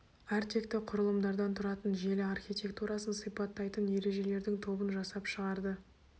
әртекті құрылымдардан тұратын желі архитектурасын сипаттайтын ережелердің тобын жасап шығарды